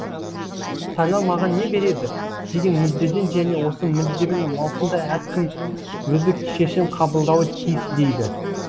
сайлау маған не береді деген мүддеден және осы мүддемен маусымда әркім өзі шешім қабылдауы тиіс дейді